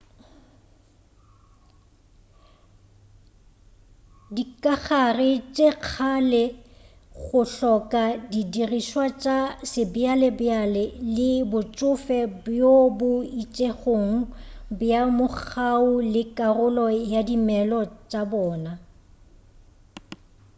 dikagare tša sekgale go hloka di dirišwa tša sebjabjale le botšofe bjo bo itšego bja mogau ke karolo ya dimelo tša bona